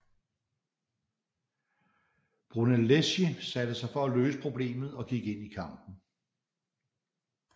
Brunelleschi satte sig for at løse problemet og gik ind i kampen